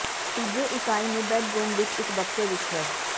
ਤੀਜੇ ਇਕਾਈ ਨੂੰ ਬੈੱਡਰੂਮ ਵਿੱਚ ਇੱਕ ਬਕਸੇ ਵਿੱਚ ਹੈ